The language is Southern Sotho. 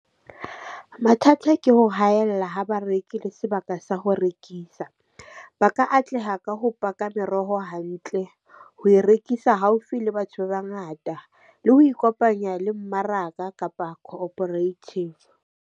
Mathata ke ho haella ha ba reki le sebaka sa ho rekisa. Ba ka atleha ka ho paka meroho hantle, ho e rekisa haufi le batho ba bangata le ho ikopanya le mmaraka kapa cooperative.